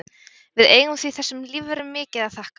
Við eigum því þessum lífverum mikið að þakka.